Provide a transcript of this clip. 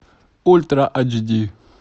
ультра айч ди